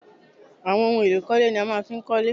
Àwọn ohun èlò ìkọ́lé ni a máa fi ń kọ́lé